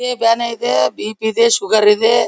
ಇದೆ ಬ್ಯಾನೆ ಇದೆ ಬಿ ಪಿ ಇದೆ ಶುಗರ್ ಇದೆ.